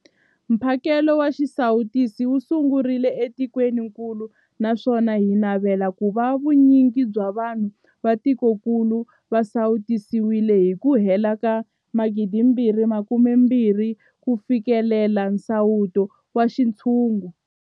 Mphakelo wa xisawutisi wu sungurile etikwenikulu naswona hi navela ku va vu nyingi bya vanhu va tikokulu va sawutisiwile hi ku hela ka 2021 ku fikelela nsawuto wa xintshungu.